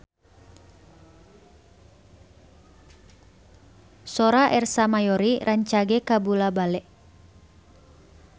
Sora Ersa Mayori rancage kabula-bale